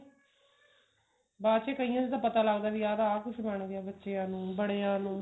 ਬਾਅਦ ਚ ਕਈਆਂ ਦਾ ਪਤਾ ਲਗਦਾ ਵੀ ਆਹ ਕੁੱਛ ਬਣ ਗਿਆ ਬੱਚਿਆ ਨੂੰ ਬੜੀਆਂ ਨੂੰ